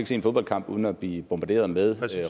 se en fodboldkamp uden at blive bombarderet med